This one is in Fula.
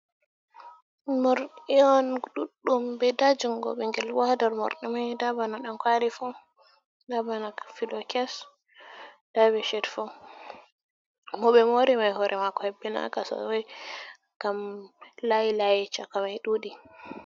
Morɗi on ɗuɗɗum be nda jungo ɓingelbo hadaw morɗi mai, ɗamkwali fu dabana fylokes dabe she fu mobe mori mai hore mako hebbinaka sosai ngam layi layi chaka mai dudi.